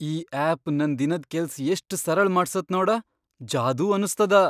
ಈ ಆಪ್ ನನ್ ದಿನದ್ ಕೆಲ್ಸ್ ಎಷ್ಟ್ ಸರಳ ಮಾಡ್ಸತ್ ನೋಡ, ಜಾದೂ ಅನಸ್ತದ!